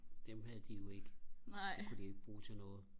dem havde de jo ikke dem kunne de ikke bruge til noget